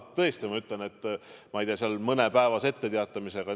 Tõesti, ma ütlen, et mõnepäevase etteteatamisega ei saa.